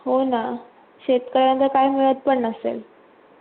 हो ना शेतकऱ्यांना काय मिडत पन नसेल